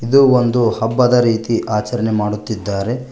ಇದು ಒಂದು ಹಬ್ಬದ ರೀತಿ ಆಚರಣೆ ಮಾಡುತ್ತಿದ್ದಾರೆ.